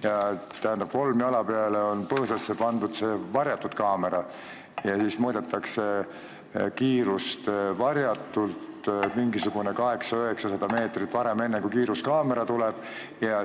Tähendab, kolmjala peale on põõsasse pandud see varjatud kaamera ja siis mõõdetakse kiirust varjatult, mingisugune 800–900 meetrit varem, enne kui kiiruskaamera tuleb, ja